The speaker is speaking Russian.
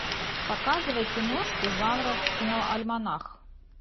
показывай киношку жанра киноальманах